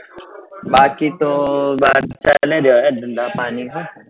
બાકી તો બાર ચાલે છે હવે ધંધા પાણી નું